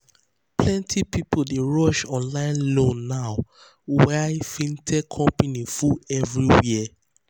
plenty people dey rush online loan now na why fintech companies full everywhere.